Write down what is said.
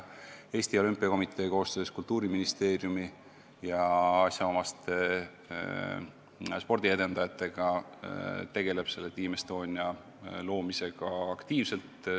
Eesti Olümpiakomitee tegeleb koostöös Kultuuriministeeriumi ja asjaomaste spordiedendajatega Team Estonia loomisega aktiivselt.